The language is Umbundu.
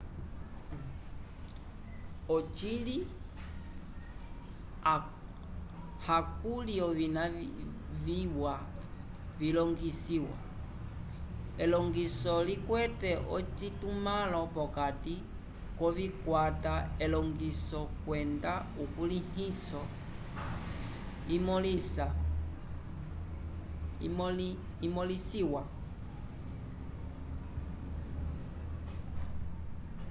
ocili hakuli ovina viwa vilongisiwa elongiso likwete ocitumãlo p'okati k'okukwata elongiso kwenda ukulĩhiso imõlisiwa